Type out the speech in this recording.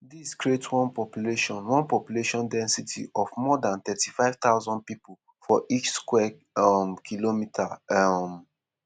dis create one population one population density of more dan 35 thousand pipo for each square um kilometre. um